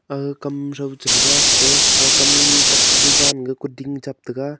aga kam row cherega ta a kam tok kaga jan ga kuding chap taiga.